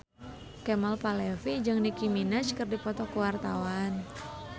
Kemal Palevi jeung Nicky Minaj keur dipoto ku wartawan